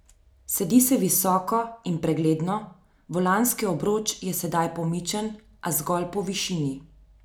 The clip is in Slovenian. Sedi se visoko in pregledno, volanski obroč je sedaj pomičen, a zgolj po višini.